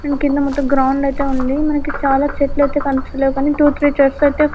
కింద మొత్తం గ్రౌండ్ ఐతే ఉంది మనకి చాలా చెట్లు ఐతే కనిపిస్తలేదు కానీ త్వో త్రి చైర్స్ అయితే--